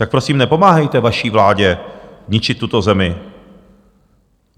Tak prosím nepomáhejte vaší vládě ničit tuto zemi.